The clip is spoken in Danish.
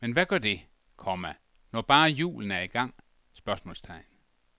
Men hvad gør det, komma når bare julen er i gang? spørgsmålstegn